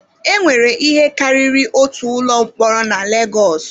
Enwere ihe karịrị otu ụlọ mkpọrọ na Legọs.